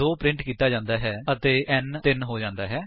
2 print ਕੀਤਾ ਜਾਂਦਾ ਹੈ ਅਤੇ n 3 ਹੋ ਜਾਂਦਾ ਹੈ